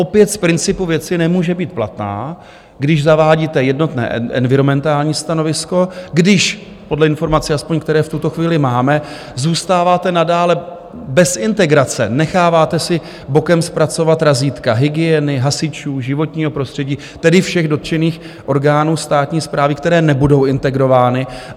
Opět z principu věci nemůže být platná, když zavádíte jednotné environmentální stanovisko, když podle informací, aspoň, které v tuto chvíli máme, zůstáváte nadále bez integrace, necháváte si bokem zpracovat razítka hygieny, hasičů, životního prostředí, tedy všech dotčených orgánů státní správy, které nebudou integrovány.